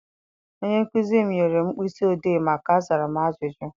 Onye nkụzi m nyere mkpịsị odee maka azara m ajụjụ.